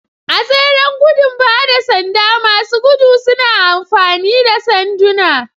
A tseren gudun ba da sanda, masu gudu suna amfani da sanduna.